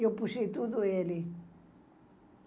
E eu puxei tudo ele.